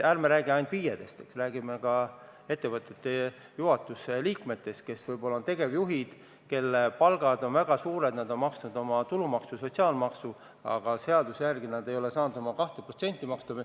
Ärme räägime ainult FIE-dest, räägime ka ettevõtete juhatuse liikmetest, kes võib-olla on tegevjuhid, kelle palgad on väga suured ja nad on maksnud tulumaksu ja sotsiaalmaksu, aga seaduse järgi nad ei ole saanud seda 2% maksta.